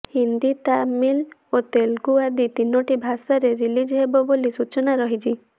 ହିନ୍ଦି ତାମିଲ୍ ଓ ତେଲୁଗୁ ଆଦି ତିନୋଟି ଭାଷାରେ ରିଲିଜ୍ ହେବ ବୋଲି ସୂଚନା ରହିଛି